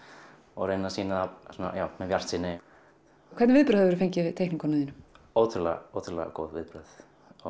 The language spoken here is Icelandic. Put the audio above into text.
og reyni að sýna hann með bjartsýni og hvernig viðbrögð hefurðu fengið við teikningunum þínum ótrúlega ótrúlega góð viðbrögð